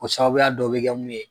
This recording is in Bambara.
Ko sababuya dɔ bɛ kɛ mun ye